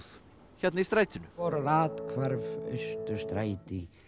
hérna í strætinu vorrar athvarf Austurstræti